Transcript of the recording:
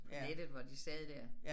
På nettet hvor de sad der